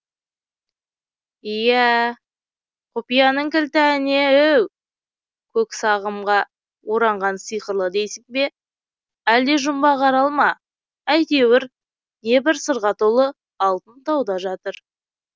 иә ә құпияның кілті әне еу көк сағымға оранған сиқырлы дейсің бе әлде жұмбақ арал ма әйтеуір небір сырға толы алтын тауда жатыр